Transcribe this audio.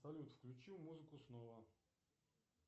салют включи музыку снова